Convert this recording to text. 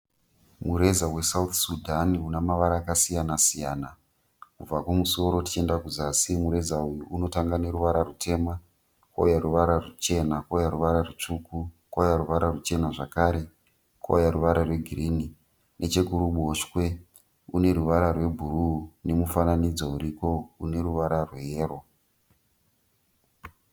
Mureza weSouth Sudan unamavara akasiyana siyana. Kubva kumusoro tichienda kuzasi, pane ruvara rwetema, kouya ruvara ruchena, kouya ruvara rutsvuku, kouya ruvara rwuchena zvakare. Nechekuruboshwe kune ruvara rwe bhuruwu rune mufananidzo weyero.